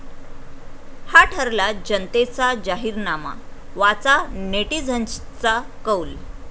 हा ठरला जनतेचा जाहीरनामा, वाचा नेटिझन्सचा कौल